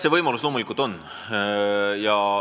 See võimalus loomulikult on.